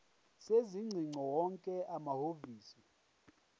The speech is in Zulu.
sezingcingo wonke amahhovisi